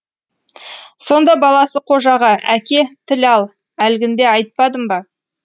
сонда баласы қожаға әке тіл ал әлгінде айтпадым ба